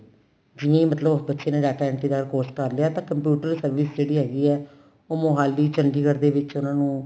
ਜਿਵੇਂ ਮਤਲਬ ਬੱਚੇ ਨੇ data entry ਦਾ course ਕਰ ਲਿਆ ਤਾਂ computer service ਜਿਹੜੀ ਹੈਗੀ ਏ ਉਹ ਮੋਹਾਲੀ ਚੰਡੀਗੜ੍ਹ ਦੇ ਵਿੱਚ ਉਹਨਾ ਨੂੰ